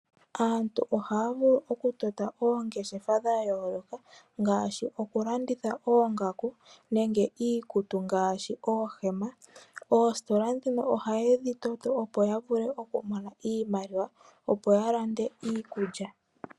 Aantu oha ya vulu okutota oongeshefa dha yooloka ngaashi okulanditha oongaku nenge iikutu ngaashi oohema. Oositola ndhino oha ye dhi toto opo ya vule okumona iimaliwa opo ya lande iikulya.